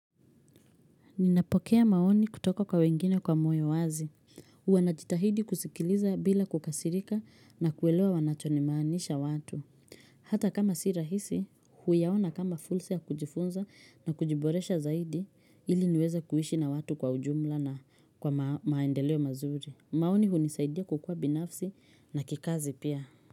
Ninapokea maoni kutoka kwa wengine kwa moyo wazi. Huwanajitahidi kusikiliza bila kukasirika na kuelewa wanachonimaanisha watu. Hata kama sirahisi, huyaona kama fulsa ya kujifunza na kujiboresha zaidi ili niweze kuishi na watu kwa ujumla na kwa ma maendeleo mazuri. Maoni hunisaidia kukua binafsi na kikazi pia.